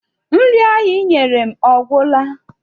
Nri ahụ I nyere m ọ gwụla?